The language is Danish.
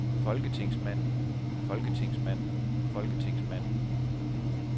folketingsmanden folketingsmanden folketingsmanden